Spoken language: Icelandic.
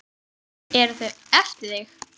Eru þau eftir þig?